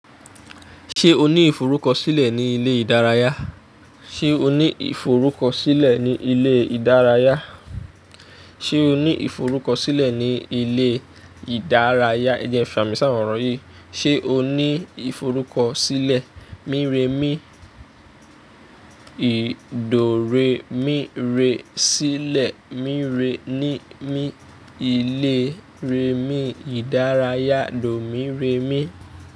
Ṣé o ní ìforúkọ̀sílẹ̀ ní ilé ìdárayá? Ṣé o ní ìforúkọ̀sílẹ̀ ní ilé ìdárayá? Ṣé o ní ìforúkọ̀sílẹ̀ ní ilé ìdárayá? Ẹ jo ẹ̀fà mí sawọ̀n orọ̀ yìí. Ṣé o ní ìforúkọ̀sílẹ̀? Míréàmí, ìdòréàmí rẹ sílẹ̀, míréàmí ní mí ilé rèàmí ìdárayá dómìréàmí.